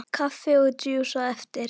Kaffi og djús á eftir.